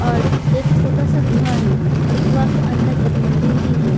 और एक छोटा सा गुहा है और गुहा के अंदर एक मंदिर भी है।